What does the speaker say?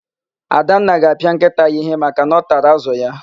Adanna ga-apịa nkịta ya íhé maka na ọ tara ázụ̀ ya.